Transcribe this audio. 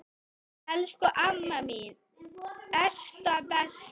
Elsku amma mín Esta besta.